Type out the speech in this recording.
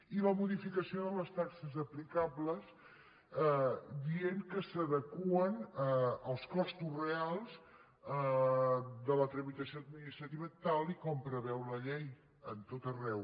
i la modificació de les taxes aplicables dient que s’adeqüen als costos reals de la tramitació administrativa tal com preveu la llei a tot arreu